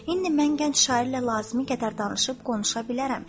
İndi mən gənc şairlə lazımı qədər danışıb-qonuşa bilərəm.